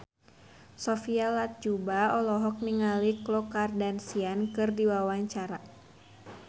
Sophia Latjuba olohok ningali Khloe Kardashian keur diwawancara